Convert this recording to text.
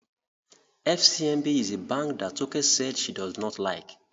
FCMB is a bank that Toke said she does not like